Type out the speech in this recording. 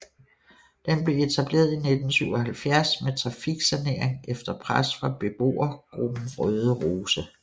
Den blev etableret i 1977 med trafiksanering efter pres fra beboergruppen Røde Rose